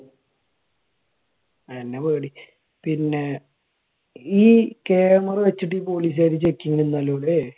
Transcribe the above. അതു തന്നെ പേടി. പിന്നെ ഈ camera വെച്ചിട്ട് പോലീസ് കാരുടെ checking നിന്നല്ലോ. അല്ലെ?